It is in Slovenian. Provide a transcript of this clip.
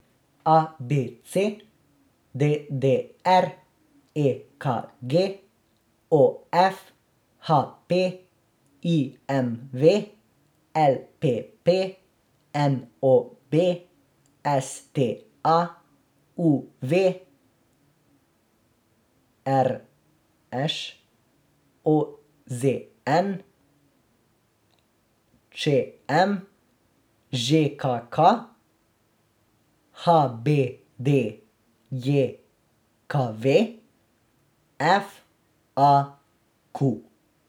A B C; D D R; E K G; O F; H P; I M V; L P P; N O B; S T A; U V; R Š; O Z N; Č M; Ž K K; H B D J K V; F A Q.